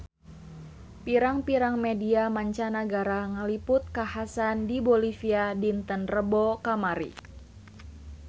Pirang-pirang media mancanagara ngaliput kakhasan di Bolivia dinten Rebo kamari